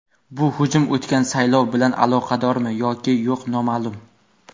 Bu hujum o‘tgan saylov bilan aloqadormi yoki yo‘q noma’lum.